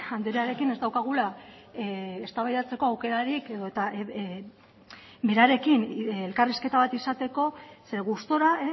andrearekin ez daukagula eztabaidatzeko aukerarik edota berarekin elkarrizketa bat izateko zeren gustura